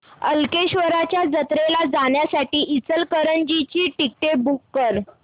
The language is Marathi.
कल्लेश्वराच्या जत्रेला जाण्यासाठी इचलकरंजी ची तिकिटे बुक कर